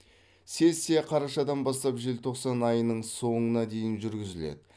сессия қарашадан бастап желтоқсан айының соңына дейін жүргізіледі